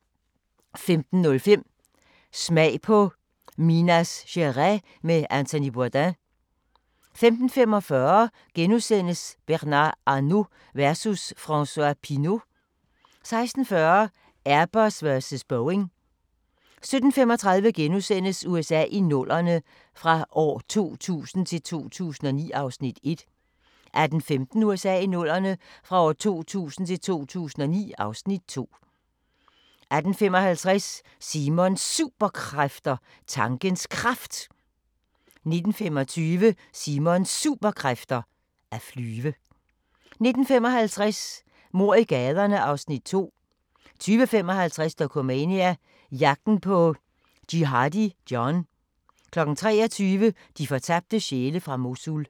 15:05: Smag på Minas Gerais med Anthony Bourdain 15:45: Bernard Arnault versus François Pinault * 16:40: Airbus versus Boeing 17:35: USA i 00'erne – fra 2000 til 2009 (Afs. 1)* 18:15: USA i 00'erne – fra 2000 til 2009 (Afs. 2) 18:55: Simons Superkræfter: Tankens Kraft 19:25: Simons Superkræfter: At flyve 19:55: Mord i gaderne (Afs. 2) 20:55: Dokumania: Jagten på Jihadi John 23:00: De fortabte sjæle fra Mosul